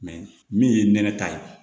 min ye nɛnɛ ta ye